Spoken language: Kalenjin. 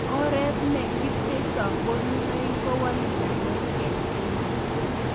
oreetne kipcheito konunoik kowale ngalek en kenya